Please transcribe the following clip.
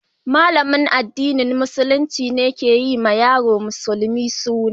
Malamin addinin Musulunci ne ke yi wa yaron musulmi suna.